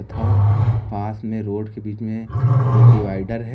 हां पास में रोड के बीच में एक डिवाइडर है।